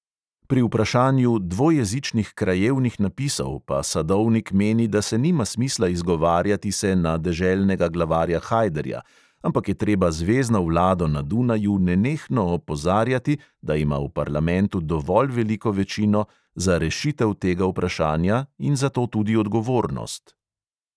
Pri vprašanju dvojezičnih krajevnih napisov pa sadovnik meni, da se nima smisla izgovarjati se na deželnega glavarja hajderja, ampak je treba zvezno vlado na dunaju nenehno opozarjati, da ima v parlamentu dovolj veliko večino za rešitev tega vprašanja in zato tudi odgovornost.